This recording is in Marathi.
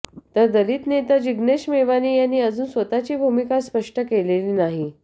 तर दलित नेता जिग्नेश मेवानी यांनी अजून स्वतःची भूमिका स्पष्ट केलेली नाही